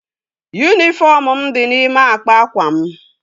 Yunifọm mụ di n'ime akpa akwa m